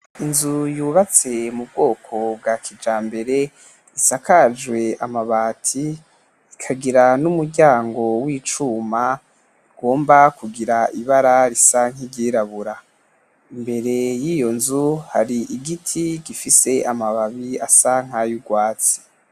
Inzu yubtswe mubwoko bwa kijamabere isakajwe amabati, ikagira numuryango wicuma ugomba kugira ibara risa nkiryirabura, imbere yiyonzu harigiti gifise amabara asa nkayurwatsi.